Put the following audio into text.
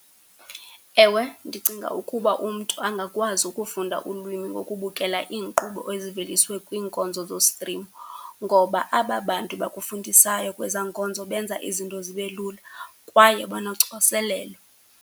Ewe, ndicinga ukuba umntu angakwazi ukufunda ulwimi ngokubukela iinkqubo eziveliswe kwiinkonzo zostrimo ngoba aba bantu bakufundisayo kwezaa nkonzo benza izinto zibe lula kwaye banocoselelo.